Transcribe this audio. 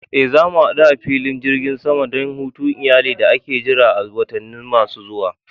Eh, za mu hadu a filin jirgin sama don hutun iyali da ake jira a watanni masu zuwa.